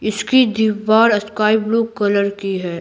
इसकी दीवार sky blue colour की है।